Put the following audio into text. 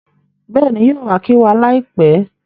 Bẹ́ẹ̀ni, yóò wa kí wa láìpẹ́